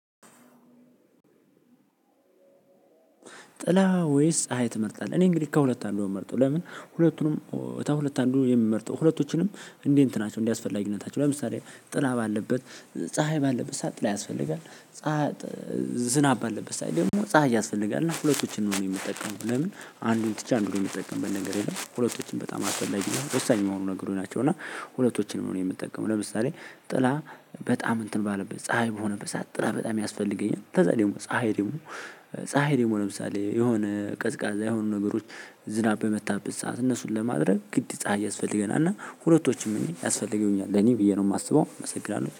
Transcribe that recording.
ጥላ ወይስ ፀሀይ ትመርጣለህ? እኔ እንግዲህ ከሁለት አንዱን ነው የምመርጠው። ለምን? ሁለቱንም ከሁለት አንዱ የምመርጠው ሁለቶችንም እንዲህ እንትናቸው እንደ አስፈላጊነታቸው ለምሳሌ። ጥላ ባለበት ፀሀይ ባለበት ሰዓት ጥላ ያስፈልጋል። ፀሀይ። ዝናብ ባለበት ሰዓት ደግሞ ፀሀይ ያስፈልጋል እና ሁለቶችን ነው የምጠቀመው። ለምን? አንዱን ትቼ አንዱን የምጠቀምበት ነገር የለም ሁለቶችን በጣም አስፈላጊ የሆኑ ወሳኝ የሆኑ ነገሮች ናቸው። እና ሁለቶችንም ነው እኔ የምትጠቀመው ለምሳሌ። ጥላ በጣም እንትን ባለበት ፀሀይ በሆነበት ሰዓት ጥላ በጣም ያስፈልገኛል። ከዛ ደግሞ ፀሀይ ደግሞ። ፀሀይ ደግሞ ለምሳሌ የሆነ ቀዝቃዛ የሆኑ ነገሮች። ዝናብ በመጣበት ሰዓት እነሱን ለማድረግ ግድ ፀሀይ ያስፈልገናል። እና ሁለቶችም እኔ ያስፈልገኛል ለኔ ብዬ ነው የማስበው እመሰግናለሁ